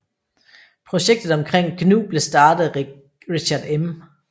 Projektet omkring GNU blev startet af Richard M